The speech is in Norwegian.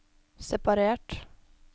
separert